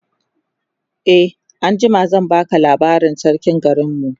e anjima zan baka labarin sarkin garinmu